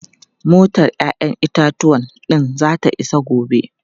Motar 'ya'yan itatuwan din zata iso gobe.